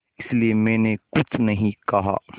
इसलिए मैंने कुछ नहीं कहा